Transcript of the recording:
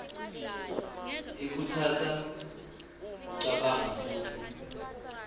ikhutsata kucabanga futsi